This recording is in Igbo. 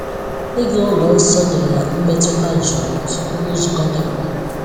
Ịga ụlọ nsọ nyere ya mmetụta jụụ tupu nzukọ dị mkpa.